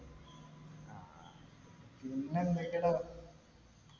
പിന്നെ എന്തൊക്കെടാ